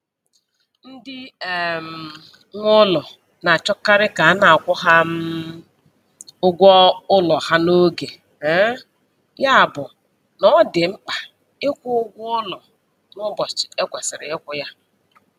Ndị um nwe ụlọ na-achọkarị ka a na-akwụ ha um ụgwọ ụlọ ha n'oge, um ya bụ na ọ dị mkpa ịkwụ ụgwọ ụlọ n'ụbọchị e kwesiri ịkwụ ya.